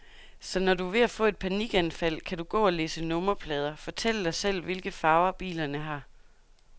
Så når du er ved at få et panikanfald, kan du gå og læse nummerplader, fortælle dig selv, hvilke farver bilerne har.